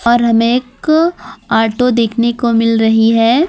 और हमें एक ऑटो देखने को मिल रही है।